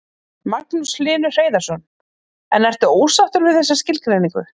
Magnús Hlynur Hreiðarsson: En ertu ósáttur við þessa skilgreiningu?